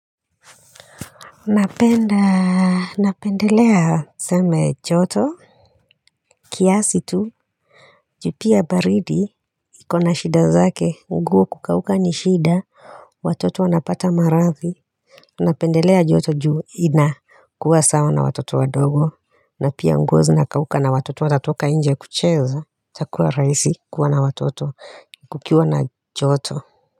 Napenda, napendelea tuseme joto kiasi tu, juu pia baridi, ikona shida zake, nguo kukauka ni shida Watoto wanapata marathi Napendelea joto juu inakuwa sawa na watoto wadogo na pia nguo zinakauka na watoto wanatoka nje kucheza itakuwa rahisi kuwa na watoto, kukiwa na joto.